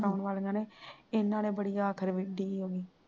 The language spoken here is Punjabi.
ਕਰਵਾਉਣ ਵਾਲਿਆਂ ਨੇ ਇਹਨਾਂ ਨੇ ਬੜੀ ਆਖਰ ਮੀਡੀਆ